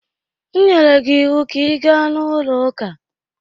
M nyere gị ịwụ ka ị gaa n'ụlọ ụka!